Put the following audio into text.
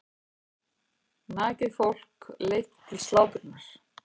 Nakið fólk leitt til slátrunar.